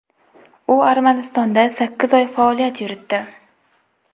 U Armanistonda sakkiz oy faoliyat yuritdi.